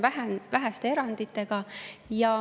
See on väheste eranditega.